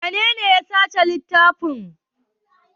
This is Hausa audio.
Wanene ya saci littafin?